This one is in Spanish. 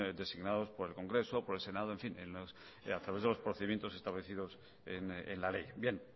designados por el congreso por el senado en fin a través de los procedimientos establecidos en la ley bien